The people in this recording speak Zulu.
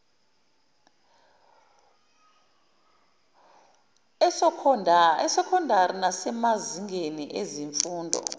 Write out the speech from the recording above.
esokhondari nasemazingeni ezemfundo